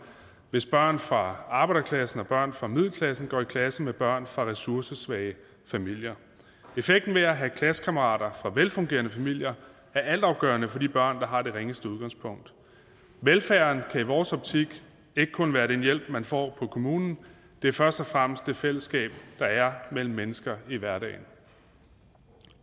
hvis børn fra arbejderklassen og børn fra middelklassen går i klasse med børn fra ressourcesvage familier effekten af at have klassekammerater fra velfungerende familier er altafgørende for de børn der har det ringeste udgangspunkt velfærden kan i vores optik ikke kun være den hjælp man får på kommunen det er først og fremmest det fællesskab der er mellem mennesker i hverdagen